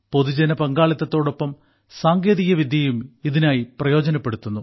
പൊതുജന പങ്കാളിത്തത്തോടൊപ്പം സാങ്കേതികവിദ്യയും ഇതിനായി പ്രയോജനപ്പെടുത്തുന്നു